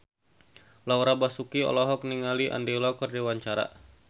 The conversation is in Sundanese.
Laura Basuki olohok ningali Andy Lau keur diwawancara